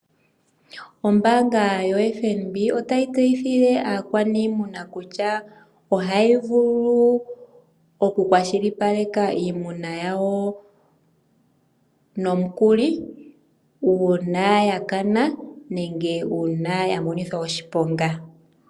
Ombaanga yoFNB otayi tseyithile aakwaniimuna kutya, ohayi vulu oku kwashilipaleka iimuna yawo nomukuli uuna ya kana nenge uuna ya monithwa oshiponga.